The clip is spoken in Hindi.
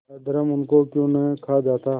अधर्म उनको क्यों नहीं खा जाता